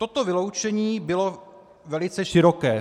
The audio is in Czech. Toto vyloučení bylo velice široké.